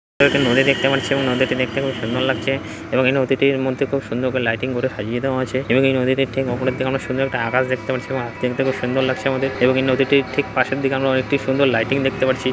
একটি নদী দেখতে পাচ্ছি এবং নদীটি দেখতে খুব সুন্দর লাগছে এবং এই নদীটির মধ্যে খুব সুন্দর করে লাইটিং ভোরে সাজিয়ে দেওয়া আছে এবং এই নদীতে একটি উপরের দিকে আমরা সুন্দর একটা আকাশ দেখতে পাচ্ছি এবং দেখতে খুব সুন্দর লাগছে। আমাদের এবং এই নদীটির ঠিক পাশের দিকে আমরা অনেকটি সুন্দর লাইটিং দেখতে পারছি।